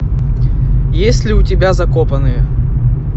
есть ли у тебя закопанные